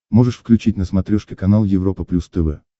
можешь включить на смотрешке канал европа плюс тв